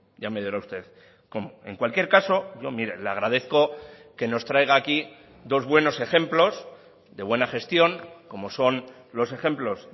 ya me dirá usted cómo en cualquier caso yo mire le agradezco que nos traiga aquí dos buenos ejemplos de buena gestión como son los ejemplos